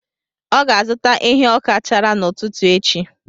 Ọ ga-azụta ehi ọka chara n’ụtụtụ echi.